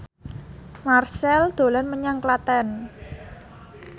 Marchell dolan menyang Klaten